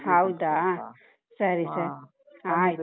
ಹೌದಾ .